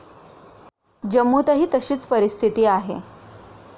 जम्मूतही तशीच परिस्थिती आहे.